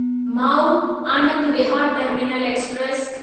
माउ Anand Vihar terminal express